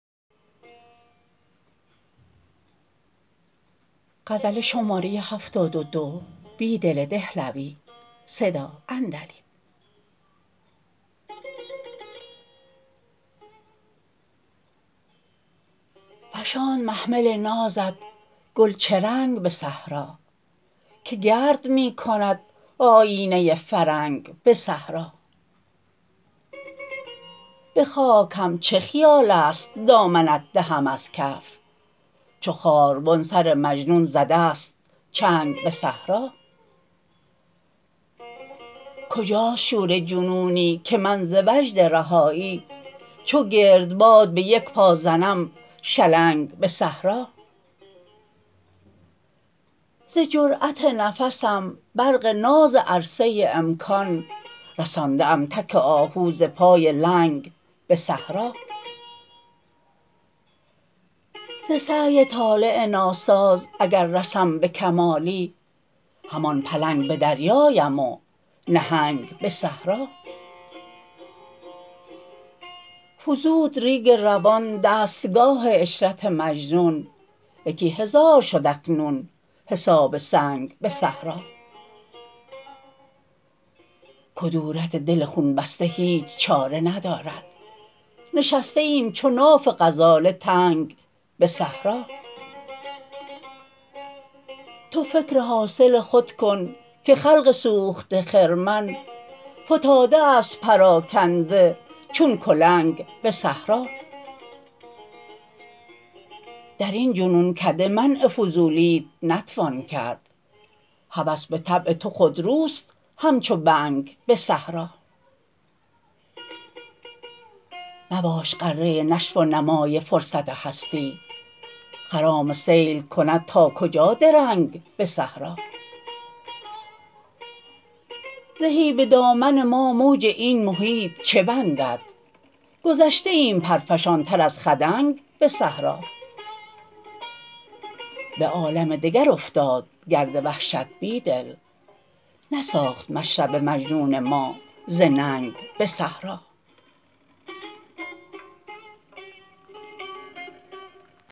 فشاند محمل نازت گل چه رنگ به صحرا که گرد می کند آیینه فرنگ به صحرا به خاک هم چه خیال است دامنت دهم از کف چو خاربن سر مجنون زده ست چنگ به صحرا کجاست شور جنونی که من ز وجد رهایی چو گردباد به یک پا زنم شلنگ به صحرا ز جرأت نفسم برق ناز عرصه امکان رسانده ام تک آهو ز پای لنگ به صحرا ز سعی طالع ناساز اگر رسم به کمالی همان پلنگ به دریایم و نهنگ به صحرا فزود ریگ روان دستگاه عشرت مجنون یکی هزار شد اکنون حساب سنگ به صحرا کدورت دل خون بسته هیچ چاره ندارد نشسته ایم چو ناف غزاله تنگ به صحرا تو فکر حاصل خود کن که خلق سوخته خرمن فتاده است پراکنده چون کلنگ به صحرا در این جنون کده منع فضولی ات نتوان کرد هوس به طبع تو خودروست همچو بنگ به صحرا مباش غره نشو و نمای فرصت هستی خرام سیل کند ناکجا درنگ به صحرا زهی به دامن ما موج این محیط چه بندد گذشته ایم پرافشان تر از خدنگ به صحرا به عالم دگر افتاد گرد وحشت بیدل نساخت مشرب مجنون ما ز ننگ به صحرا